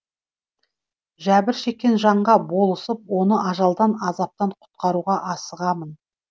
жәбір шеккен жанға болысып оны ажалдан азаптан құтқаруға асығамын